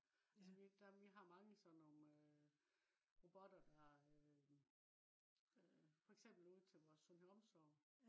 altså vi har mange sådan nogle robotter der øh for eksempel ude til vores sundhed omsorg